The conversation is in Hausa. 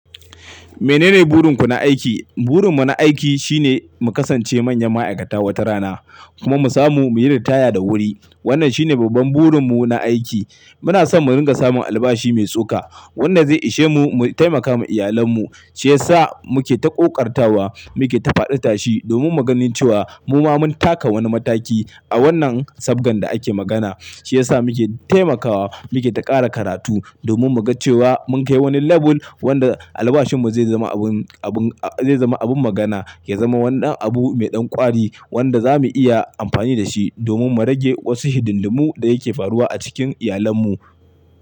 Menene burin ku na aiki? Burin mu na aiki shine mu kasance manyan ma'aikata wata rana kuma mu samu muyi ritaya da wuri. Wannan shine babban burin mu na aiki. Muna son mu ringa samun albashi mai tsoka wanda zai ishe mu, mu taimaka ma iyalan mu, shi yasa muke ta ƙoƙartawa, muke ta faɗi tashi domin maganin cewa mu ma mun taka wani mataki a wannan sabgan da ake magana. Shi yasa muke taimakawa, muke ta ƙara karatu domin mu ga cewa mun kai wani label wanda albashin mu zai zama abin, abin, zai zama abin magana, ya zama wannan abu mai ɗan ƙwari wanda za mu iya amfani da shi domin mu rage wasu hidimlimun da yake faruwa a cikin iyalan mu.